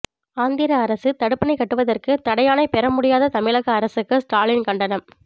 ஆந்திர அரசு தடுப்பணை கட்டுவதற்கு தடையாணை பெற முடியாத தமிழக அரசுக்கு ஸ்டாலின் கண்டனம்